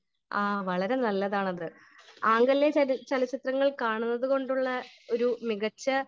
Speaker 1 ആ വളരെ നല്ലതാണ് അത് . ആംഗലേയ ചലച്ചിത്രങ്ങൾ കാണുന്നത് കൊണ്ടുള്ള ഒരു മികച്ച